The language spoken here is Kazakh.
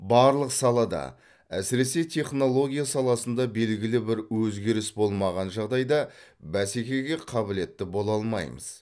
барлық салада әсіресе технология саласында белгілі бір өзгеріс болмаған жағдайда бәсекеге қабілетті бола алмаймыз